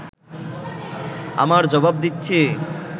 আমার জবাব দিচ্ছি